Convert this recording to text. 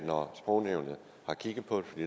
når sprognævnet har kigget på det